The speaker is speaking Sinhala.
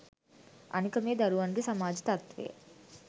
අනික මේ දරුවන්ගේ සමාජ තත්ත්වය